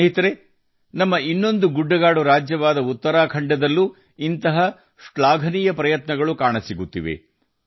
ಸ್ನೇಹಿತರೇ ನಮ್ಮ ಇತರ ಗುಡ್ಡಗಾಡು ರಾಜ್ಯವಾದ ಉತ್ತರಾಖಂಡದಲ್ಲೂ ಇಂತಹ ಶ್ಲಾಘನೀಯ ಪ್ರಯತ್ನಗಳು ಕಂಡುಬರುತ್ತಿವೆ